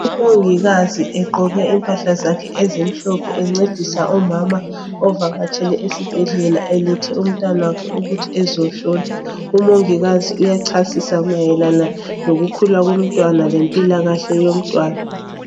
Umongikazi egqoke impahla zakhe ezimhlophe encedisa umama ovakatshele esibhedlela elethe umntanakhe ukuthi ezehlolwa. Umongikazi uyachasisa mayelana lokukhula komntwana lempilakahle yomntwana.